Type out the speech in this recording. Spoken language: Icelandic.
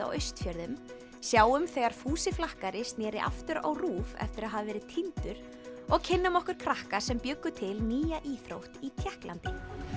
á Austfjörðum sjáum þegar Fúsi flakkari sneri aftur á RÚV eftir að hafa verið týndur og kynnum okkur krakka sem bjuggu til nýja íþrótt í Tékklandi